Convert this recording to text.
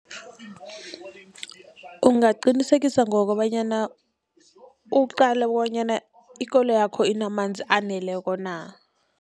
Ungaqinisekisa ngokobanyana uqale bonyana ikoloyakho inamanzi aneleko na.